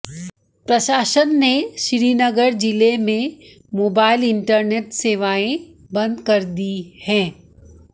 प्रशासन ने श्रीनगर जिले में मोबाइल इंटरनेट सेवाएं बंद कर दी हैं